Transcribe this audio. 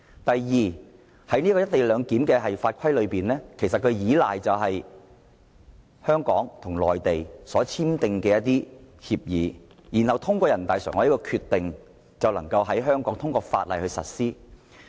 第二，有關"一地兩檢"的法規是建基於香港與內地簽訂的協議，然後通過人大常委會的《決定》在香港實施。